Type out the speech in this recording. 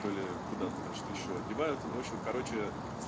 то ли куда-то значит ещё одевают ну в общем короче